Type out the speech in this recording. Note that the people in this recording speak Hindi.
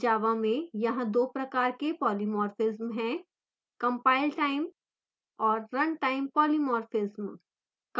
java में यहाँ दो प्रकार के polymorphism हैं: compiletime और runtime polymorphism